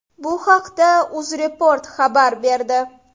Bu haqda UzReport xabar berdi .